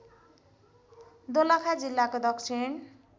दोलखा जिल्लाको दक्षिण